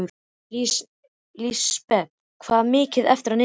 Lísebet, hvað er mikið eftir af niðurteljaranum?